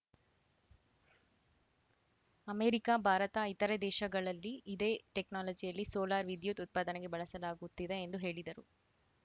America Bharat ಇತರೆ ದೇಶಗಳಲ್ಲಿ ಇದೇ ಟೆಕ್ನಾಲಜಿಯಲ್ಲಿ ಸೋಲಾರ್‌ ವಿದ್ಯುತ್‌ ಉತ್ಪಾದನೆಗೆ ಬಳಸಲಾಗುತ್ತಿದೆ ಎಂದು ಹೇಳಿದರು